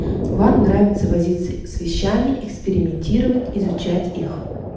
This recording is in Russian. вам нравится возить с вещами экспериментировать изучать их